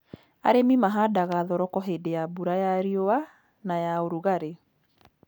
Arĩmi mahandaga thoroko hĩndĩ ya mbura ya riũa na ya ũrugarĩ.